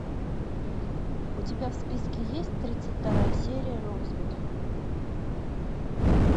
у тебя в списке есть тридцать вторая серия роузвуд